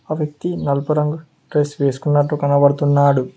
ఆ వ్యక్తి నలుపు రంగు డ్రెస్ వేసుకున్నట్టు కనబడుతున్నాడు.